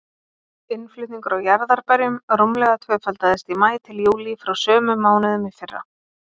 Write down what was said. Innflutningur á jarðarberjum rúmlega tvöfaldaðist í maí til júlí frá sömu mánuðum í fyrra.